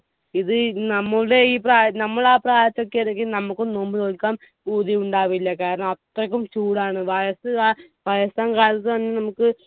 ഇത് നമ്മുടെ ഈ പ്രായ നമ്മൾ ആ പ്രായത്തോക്കെ ആണെന്കി നമ്മുക്കും നോമ്പ് നോൽക്കാൻ പൂതിയുണ്ടാവില്ല കാരണം അത്രക്കും ചൂടാണ് വയസ്സ് കാ വയസ്സാം കാലത്ത് നമ്മുക്ക്